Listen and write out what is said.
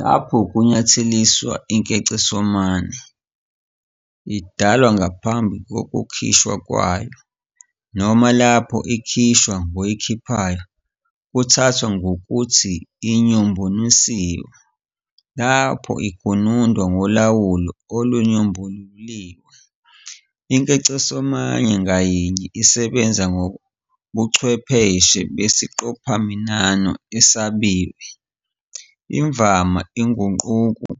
Lapho kunyatheliswa inkecesomane, idalwa ngaphambi kokukhishwa kwayo, noma lapho ikhishwa ngoyikhiphayo, kuthathwa ngokuthi inyombonisiwe. Lapho igunundwa ngolawulo olunyomboluliwe, inkecesomane ngayinye isebenza ngobuchwepheshe besiqophaminano esabiwe, imvama ingqukuhlu,